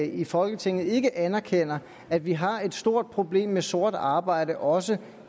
i folketinget ikke anerkender at vi har et stort problem med sort arbejde også